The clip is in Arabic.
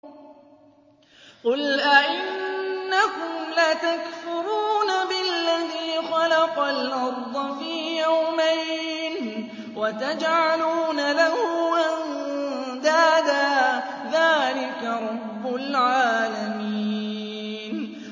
۞ قُلْ أَئِنَّكُمْ لَتَكْفُرُونَ بِالَّذِي خَلَقَ الْأَرْضَ فِي يَوْمَيْنِ وَتَجْعَلُونَ لَهُ أَندَادًا ۚ ذَٰلِكَ رَبُّ الْعَالَمِينَ